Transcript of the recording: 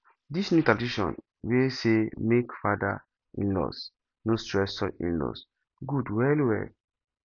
this new tradition wey say make father inlaws no stress son inlaws good well well